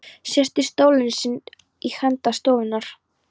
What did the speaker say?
Sest í stólinn sinn í enda stofunnar.